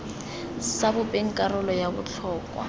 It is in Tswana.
sa bopeng karolo ya botlhokwa